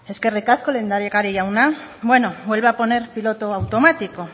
eskerrik asko lehendakari jauna bueno vuelve a poner piloto automático